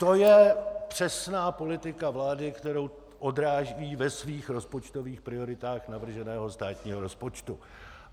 To je přesná politika vlády, kterou odráží ve svých rozpočtových prioritách navrženého státního rozpočtu.